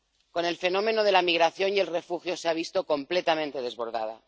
Con el fenómeno de la migración y los refugiados se ha visto completamente desbordada.